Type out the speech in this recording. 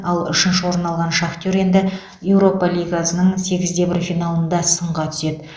ал үшінші орын алған шахтер енді еуропа лигасының сегіз де бір финалында сынға түседі